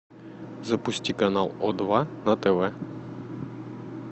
запусти канал о два на тв